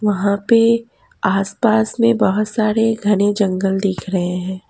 वहां पे आसपास में बहुत सारे घने जंगल दिख रहे हैं।